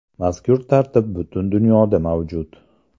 Mazkur tartib butun dunyoda mavjud.